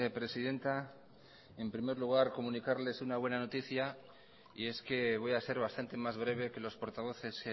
presidenta en primer lugar comunicarles una buena noticia y es que voy a ser bastante más breve que los portavoces